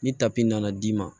Ni tapi nana d'i ma